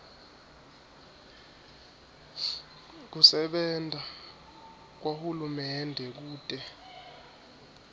kusebenta kwahulumende kute